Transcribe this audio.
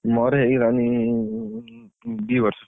ମୋର ହେଇଗଲାଣି ଉଁ, ଦି ବର୍ଷ।